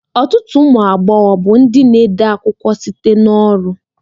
Ọtụtụ ụmụ agbọghọ bụ ndị na-ede akwụkwọ site na ọrụ